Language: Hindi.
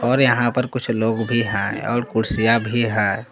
और यहां पर कुछ लोग भी हैं और कुर्सियां भी हैं ।